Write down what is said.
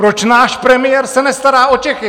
Proč náš premiér se nestará o Čechy?